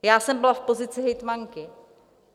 Já jsem byla v pozici hejtmanky.